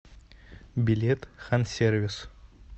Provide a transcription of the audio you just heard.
билет хансервис